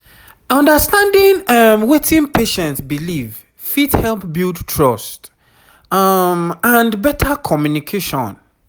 understanding um wetin patient believe fit help build trust um and better communication